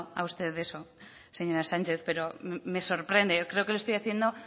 a usted eso señora sánchez pero me sorprende creo que lo estoy haciendo